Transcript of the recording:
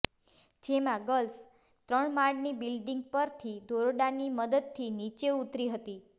જેમાં ગર્લ્સે ત્રણમાળની બિલ્ડિંગ પરથી દોરડાની મદદથી નીચે ઉતરી હતી